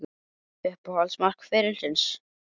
Uppáhalds mark ferilsins?